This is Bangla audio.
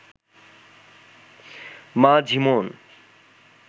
মা ঝিমোন